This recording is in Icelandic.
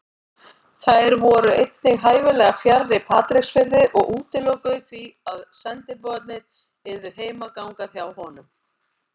Þær voru einnig hæfilega fjarri Patreksfirði og útilokuðu því að sendiboðarnir yrðu heimagangar hjá honum.